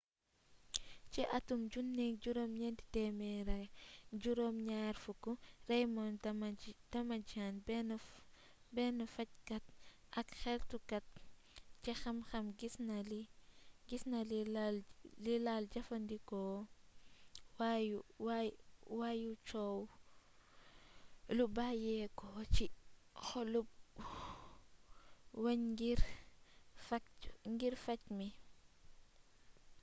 ci atum 1970 raymond damadian benn fackat ak xeltukat ci xam xam gis na li lal jëfandikoo waayu coow lu bayyéko ci xoolub wéñngir facte mi